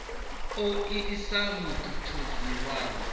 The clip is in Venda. u o isisa mutshutshisi wa